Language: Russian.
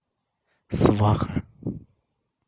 сваха